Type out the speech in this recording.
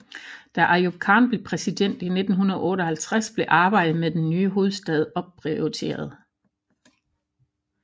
Da Ayub Khan blev præsident i 1958 blev arbejdet med den nye hovedstad opprioriteret